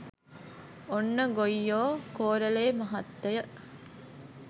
ඔන්න ගොයියෝ කෝරළේ මහත්තය